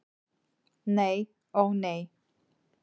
Nei, ó nei.